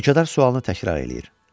Mülkədar sualını təkrar eləyir.